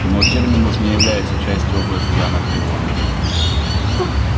но терминус не является частью области анакреона